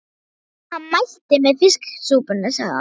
Hann mælti með fiskisúpunni, sagði hann.